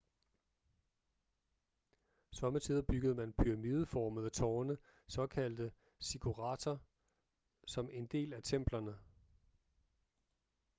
sommetider byggede man pyramideformede tårne såkaldte ziggurater som en del af templerne